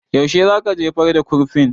Yaushe za ka jefar da kurfin?